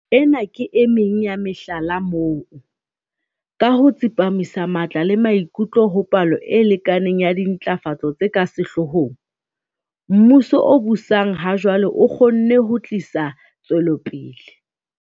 Ena ke emeng ya mehlala moo, ka ho tsepamisa matla le maikutlo ho palo e lekaneng ya dintlafatso tse ka sehloohong, mmuso o busang ha jwale o kgonne ho tlisa tswelopele.